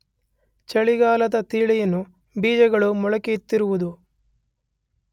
ಚಳಿಗಾಲದ ತಳಿಯನ್ನು ಬೀಜಗಳು ಮೊಳೆಯುತ್ತಿರುವುದು